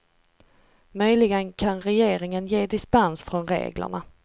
Möjligen kan regeringen ge dispens från reglerna.